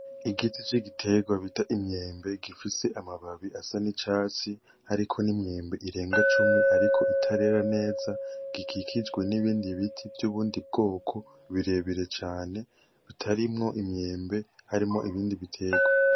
Igiti c'igiterwa bita Imyembe gifise amababi y'Icatsi hariko n'imyembe irenga cumi ariko itarera neza gikikijwe n'ibindi biti vyubundi bwoko birebire cane bitarimwo iyembe harimwo ibindi biterwa.